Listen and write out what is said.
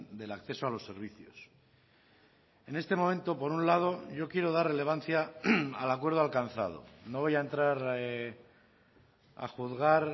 del acceso a los servicios en este momento por un lado yo quiero dar relevancia al acuerdo alcanzado no voy a entrar a juzgar